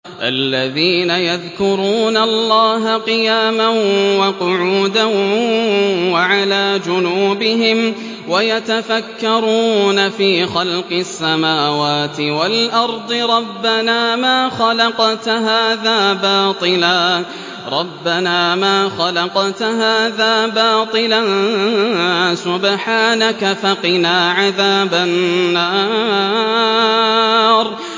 الَّذِينَ يَذْكُرُونَ اللَّهَ قِيَامًا وَقُعُودًا وَعَلَىٰ جُنُوبِهِمْ وَيَتَفَكَّرُونَ فِي خَلْقِ السَّمَاوَاتِ وَالْأَرْضِ رَبَّنَا مَا خَلَقْتَ هَٰذَا بَاطِلًا سُبْحَانَكَ فَقِنَا عَذَابَ النَّارِ